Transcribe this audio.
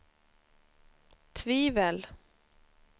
tvivel